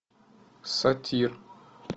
сатир